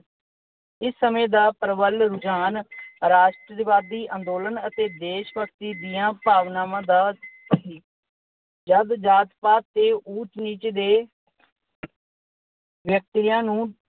ਇਸ ਸਮੇਂ ਦਾ ਪ੍ਰਬਲ ਰੁਝਾਨ ਰਾਸ਼ਟਰਵਾਦੀ ਅੰਦੋਲਨ ਅਤੇ ਦੇਸ਼ ਭਗਤੀ ਦੀਆਂ ਭਾਵਨਾਵਾਂ ਦਾ ਸੀ। ਜਦ ਜਾਤ-ਪਾਤ ਤੇ ਉਚ-ਨੀਚ ਦੇ ਵਿਅਕਤੀਆਂ ਨੂੰ